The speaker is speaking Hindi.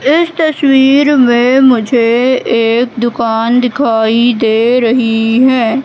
इस तस्वीर में मुझे एक दुकान दिखाई दे रही है।